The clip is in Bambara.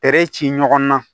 ci ɲɔgɔn na